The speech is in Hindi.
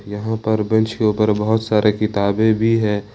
यहां पर बेंच के ऊपर बहोत सारे किताबें भी है।